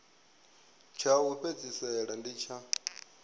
tsha u fhedzisela ndi tsha